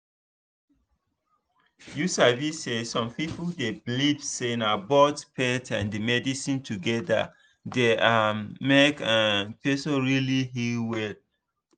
you sabi say some people dey believe say na both faith and medicine together dey um make um person really heal well.